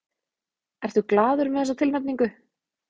Ertu glaður með þessa tilnefningu?